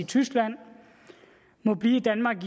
tyskland må blive i danmark